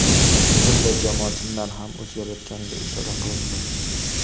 Bunda jamoa chindan ham o‘zgarayotganiga ishora qilindi.